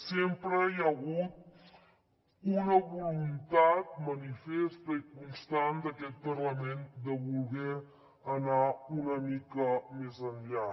sempre hi ha hagut una voluntat manifesta i constant d’aquest parlament de voler anar una mica més enllà